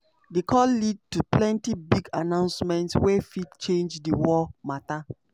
di call lead to plenty big announcements wey fit change di war mata.